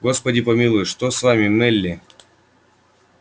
господи помилуй что это с вами мелли